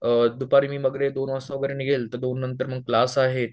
दुपारी मी दोन वाजता वगैरे निघेन तर दोन नंतर मग क्लास आहेत